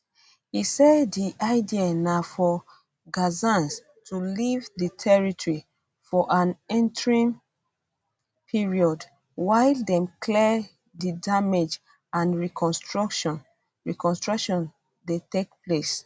e say di idea na for gazans to leave di territory for an interim period while dem clear di damage and reconstruction reconstruction dey take place